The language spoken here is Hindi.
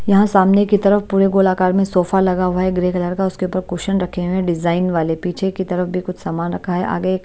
यहाँ सामने की तरफ पूरे गोलाकार में सोफा लगा हुआ है ग्रे कलर का उसके ऊपर कुशन रखे हुए हैं डिज़ाइन वाले पीछे की तरफ भी कुछ सामान रखा है आगे एक--